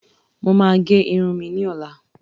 Mo máa gẹ irun mi ní ọ̀la